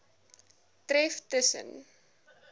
tref tus sen